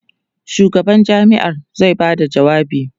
shugaban jami'ar zai Bada jawabi